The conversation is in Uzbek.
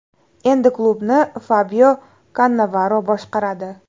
Endi klubni Fabio Kannavaro boshqaradi.